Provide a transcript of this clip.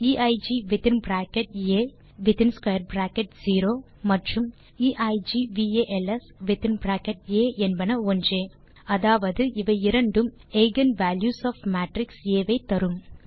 எய்க் with bracket A with square bracket 0 மற்றும் eigvals with bracket A என்பன ஒன்றே அதாவது அவை இரண்டும் eigen values of matrix A ஐ தரும்